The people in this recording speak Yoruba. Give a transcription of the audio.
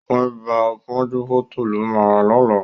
Ògùn ibà pọ́njúpọ́tọ̀ ló ma rà lọ́la